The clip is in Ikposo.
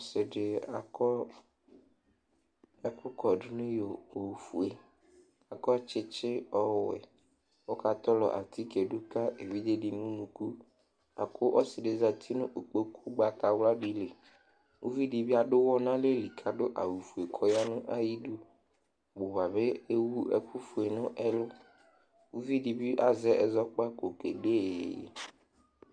Ɔsɩ dɩ akɔ ɛkʋkɔdʋ nʋ iyo ofue kʋ akɔ tsɩtsɩ ɔwɛ kʋ ɔkatɔlɔ atike dʋ ka evidze dɩ nʋ unuku bʋa kʋ ɔsɩ dɩ zati nʋ ikpoku ʋgbatawla dɩ li Uvi dɩ bɩ adʋ ʋɣɔ nʋ alɛ li kʋ adʋ awʋfue kʋ ɔya nʋ ayidu Ɔbʋ ba bɩ ewu ɛkʋfue nʋ ɛlʋ Uvi dɩ bɩ azɛ ɛzɔkpako kede iyeye